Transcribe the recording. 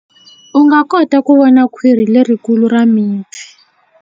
U nga kota ku vona khwiri lerikulu ra mipfi.